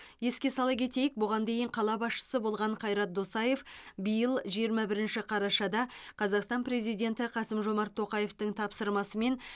еске сала кетейік бұған дейін қала басшысы болған қайрат досаев биыл жиырма бірінші қарашада қазақстан президенті қасым жомарт тоқаевтың тапсырмасымен